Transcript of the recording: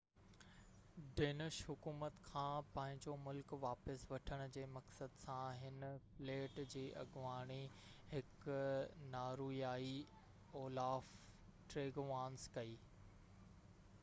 Danish حڪومت کان پنهنجو ملڪ واپس وٺڻ جي مقصد سان هن فليٽ جي اڳواڻي هڪ نارويائي اولاف ٽريگوانس ڪئي